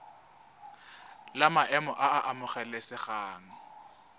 la maemo a a amogelesegang